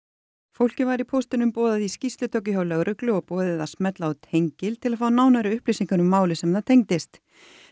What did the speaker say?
fólkið var í póstinum boðað í skýrslutöku hjá lögreglu og boðið að smella á tengil til að fá nánari upplýsingar um málið sem það tengdist